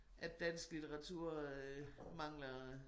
At dansk litteratur øh mangler